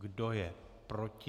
Kdo je proti?